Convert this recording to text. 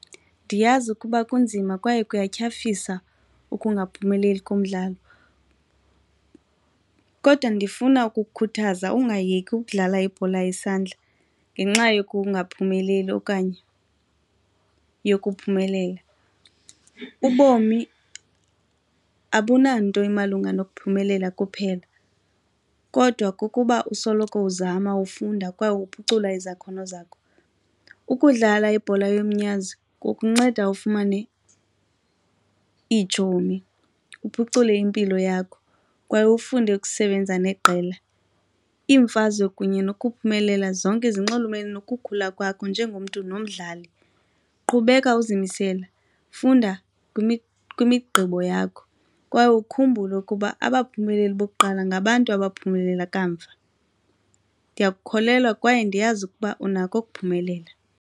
Ndiyazi ukuba kunzima kwaye kuyatyhafisa ukungaphumeleli kumdlalo kodwa ndifuna ukukukhuthaza ungayeki ukudlala ibhola yesandla ngenxa yokungaphumeleli okanye yokuphumelela. Ubomi abunanto imalunga nokuphumelela kuphela kodwa kukuba usoloko uzama ufunda kwaye uphucula izakhono zakho. Ukudlala ibhola yomnyazi kukunceda ufumane iitshomi, uphucule impilo yakho kwaye ufunde ukusebenza neqela. Iimfazwe kunye nokuphumelela zonke zinxulumene nokukhula kwakho njengomntu nomdlali. Qhubeka uzimisele funda kwimigqibo yakho kwaye ukhumbule ukuba abaphumeleli bokuqala ngabantu abaphumelela kamva, ndiya kukholelwa kwaye ndiyazi ukuba unako ukuphumelela.